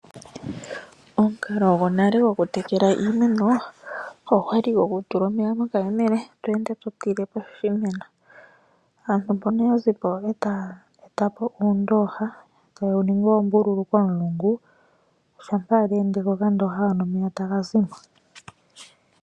Omukalo gwonale go kutekela iimeno, ogwa li gokutula omeya mokayemele tweende to tile poshimeno, aantu mpono oya zipo eta ya eta po uundooha, taye wuningi oombululu komulungu, shampa weendeke okandooha hono, omeya ta ga zimo.